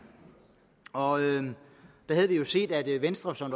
og der havde vi jo set at venstre som